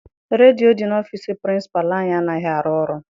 Redio dị n'ọfịịsi pirincipalu anyị anaghị arụ ọrụ.